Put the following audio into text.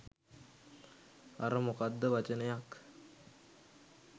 අර මොකක්ද වචනයක්